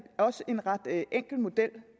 også en ret enkel model